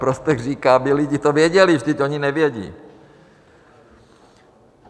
Prospekt říká, aby lidi to věděli, vždyť oni nevědí.